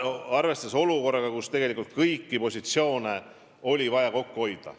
Ja seda olukorras, kus tegelikult kõigis positsioonides on vaja kokku hoida.